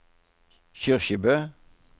Kyrkjebø